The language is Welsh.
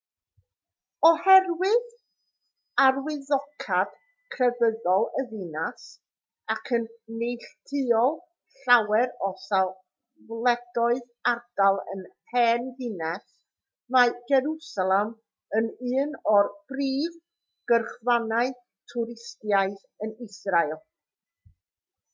oherwydd arwyddocâd crefyddol y ddinas ac yn neilltuol llawer o safleoedd ardal yr hen ddinas mae jerwsalem yn un o'r prif gyrchfannau twristaidd yn israel